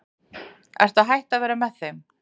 Ertu hætt að vera með þeim?